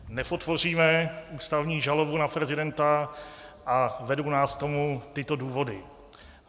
Nepodpoříme ústavní žalobu na prezidenta a vedou nás k tomu tyto důvody: